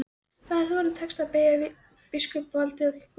Þá hefði honum tekist að beygja biskupsvaldið og kirkjuna.